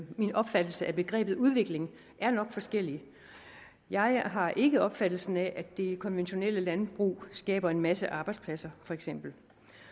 min opfattelse af begrebet udvikling nok er forskellige jeg har ikke opfattelsen af at det konventionelle landbrug skaber en masse arbejdspladser for eksempel